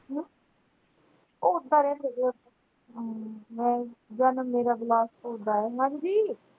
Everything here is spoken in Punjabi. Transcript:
ਉਹ ਓਦਾਂ ਰਹਿੰਦੇ ਨੇ ਓਥੇ ਹਮ ਵੈਸੇ ਜਨਮ ਮੇਰਾ ਬਿਲਾਸਪੁਰ ਦਾ ਹੈ ਹਾਂਜੀ।